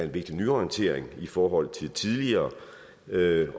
vigtig nyorientering i forhold til tidligere ved at